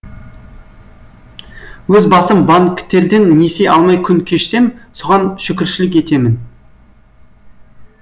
өз басым банктерден несие алмай күн кешсем соған шүкіршілік етемін